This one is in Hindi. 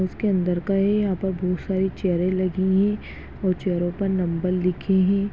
उसके अंदर का हैं यहाँ पे बहुत सारी चेयर लगी हुई हैं और चेयरो पर नंबर लिखे हैं।